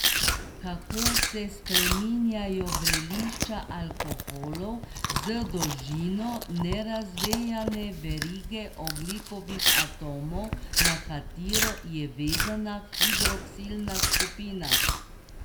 Kako se spreminjajo vrelišča alkoholov z dolžino nerazvejane verige ogljikovih atomov, na katero je vezana hidroksilna skupina?